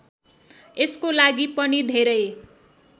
यसको लागि पनि धेरै